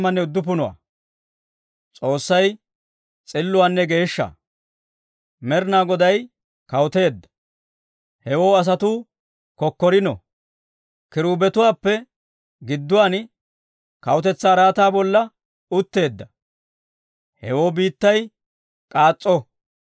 Med'inaa Goday kawuteedda! Hewoo asatuu kokkorino. Kiruubetuwaappe gidduwaan kawutetsaa araataa bolla utteedda; hewoo biittay k'aas's'o;